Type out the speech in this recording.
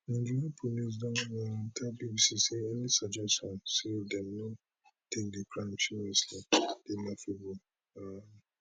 nigerian police don um tell bbc say any suggestion say dem no take di crimes seriously dey laughable um